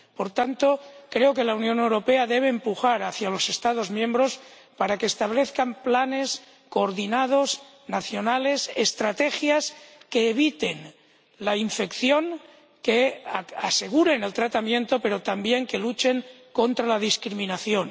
Por tanto, creo que la Unión Europea debe empujar a los Estados miembros para que establezcan planes coordinados, nacionales, estrategias que eviten la infección, que aseguren el tratamiento, pero también que luchen contra la discriminación.